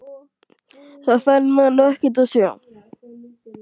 Þá fær maður nú ekkert að sjá!!